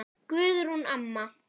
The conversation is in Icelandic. Guðrún amma.